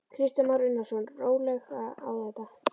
Kristján Már Unnarsson: Rólega á þetta?